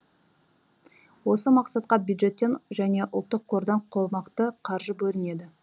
осы мақсатқа бюджеттен және ұлттық қордан қомақты қаржы бөлінеді